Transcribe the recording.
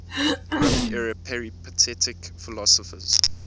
roman era peripatetic philosophers